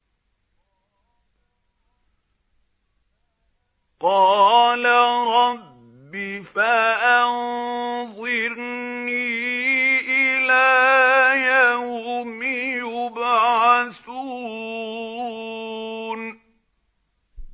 قَالَ رَبِّ فَأَنظِرْنِي إِلَىٰ يَوْمِ يُبْعَثُونَ